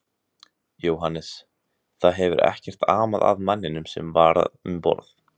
Jóhannes: Það hefur ekkert amað að manninum sem var um borð?